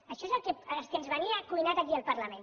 això és el que ens venia cuinat aquí al parlament